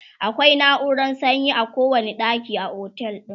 akwai nauran sanyi a kowani ɗaki a otel din